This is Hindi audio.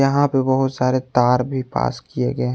यहां पे बहोत सारे तार भी पास किए गए है।